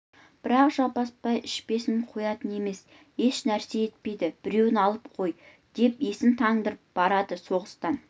бірақ жаппасбай ішпесін қоятын емес еш нәрсе етпейді біреуін алып қой деп есін тандырып барады соғыстан